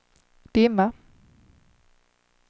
dimma